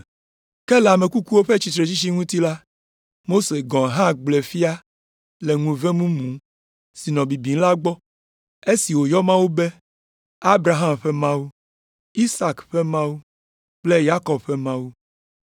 “Ke le ame kukuwo ƒe tsitretsitsi ŋuti la, Mose gɔ̃ hã gblɔe fia le ŋuve mumu si nɔ bibim la gbɔ, esi wòyɔ Mawu be, ‘Abraham ƒe Mawu, Isak ƒe Mawu kple Yakob ƒe Mawu.’